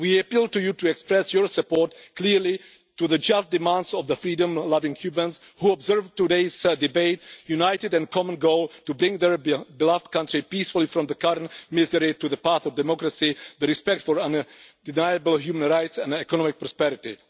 We appeal to you to express your support clearly to the just demands of the freedom loving Cubans who observe today's debate, united in a common goal to bring their beloved country peacefully from the current misery to the path of democracy, the respect for undeniable human rights and economic prosperity.